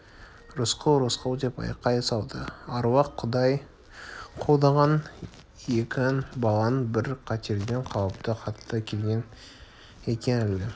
рысқұл рысқұл деп айқай салды аруақ-құдай қолдаған екен балаң бір қатерден қалыпты қатты келген екен әлгі